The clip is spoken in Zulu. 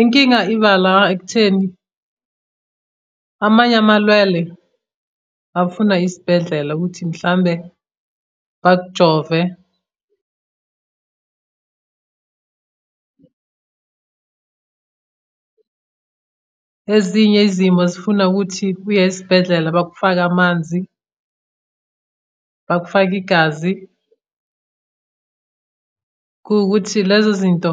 Inkinga iba la ekutheni amanye amalwele afuna isibhedlela ukuthi mhlawumbe bakujove. Ezinye izimo zifuna ukuthi uye esibhedlela bakufake amanzi, bakufake igazi. Kuwukuthi lezo zinto